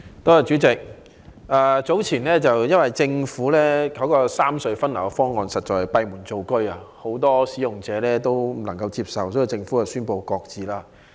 代理主席，由於政府早前的三隧分流方案實在是閉門造車，很多使用者皆無法接受，因此政府宣布擱置方案。